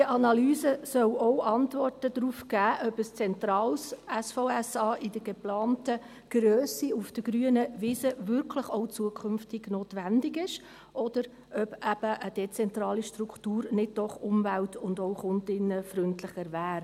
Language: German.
Diese Analyse soll auch Antworten darauf geben, ob ein zentrales SVSA in der geplanten Grösse auf der grünen Wiese wirklich auch zukünftig notwendig ist oder ob eben eine dezentrale Struktur nicht doch umwelt- und auch kundinnenfreundlicher wäre.